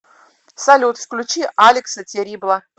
салют включи алекса террибла